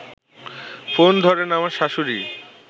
phone ধরেন আমার শাশুড়ি